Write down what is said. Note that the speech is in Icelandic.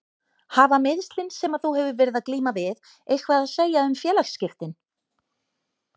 Hafa meiðslin sem að þú hefur verið að glíma við eitthvað að segja um félagsskiptin?